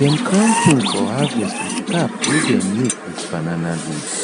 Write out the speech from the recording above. dem crown king for harvest with cap wey dem make with banana leaf